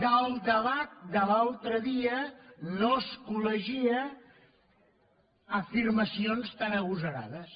del debat de l’altre dia no es col·legia afirmacions tan agosarades